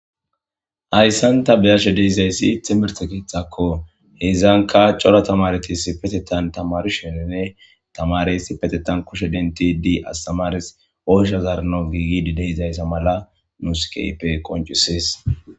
Ayssanta beyashe deizayssi temersekithakko hezanka cora tamaretis si petetan tamarushenene tamaresi petetan kushe denti di astamares ooshazarno giigidi deizayssa mala muskeype qoncisees